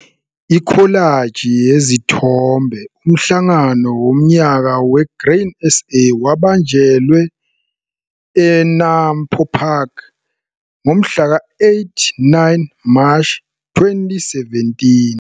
Ikholaji yezithombe- Umhlangano wonyaka we-Grain SA wabanjelwe e-NAMPO Park ngomhlaka 8 9 Mashi 2017.